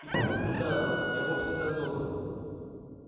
и предупреждаю вас я вовсе не так добр